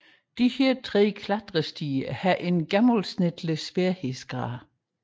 Disse tre klatrestier har en gennemsnitlig sværhedsgrad